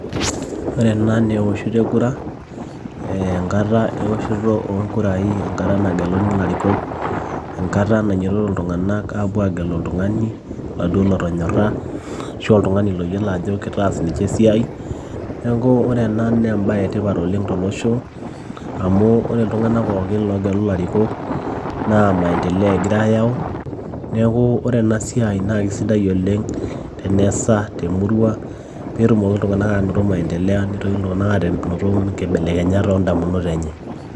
ore ena naa ewoshoto ekura enkata ewoshoto oonkurai enkata nageluni ilarikok enkata nainyiototo iltung'anak aapuo agelu oltung'ani oladuo lotonyorra ashu oltung'ani loyiolo ajo kitaas ninche esiai neeku ore ena naa embaye etipat oleng tolosho amu ore iltiung'anak pookin loogelu ilarikok naa maendeleo egira ayau neeku ore ena siai naa kisidai oleng teneesa temurua peetumoki iltung'anak aanoto maendeleo nitoki iltung'anak anoto inkibelekenyat oondamunot enye.